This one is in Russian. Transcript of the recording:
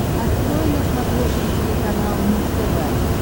открой на смотрешке телеканал муз тв